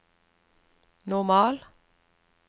normal